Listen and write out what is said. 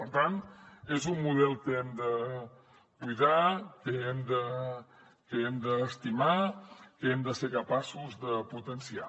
per tant és un model que hem de cuidar que hem d’estimar que hem de ser capaços de potenciar